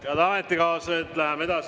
Head ametikaaslased!